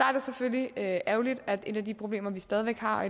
er det selvfølgelig ærgerligt at et af de problemer vi stadig væk har